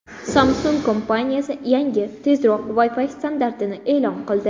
Samsung kompaniyasi yangi, tezroq Wi-Fi standartini e’lon qildi.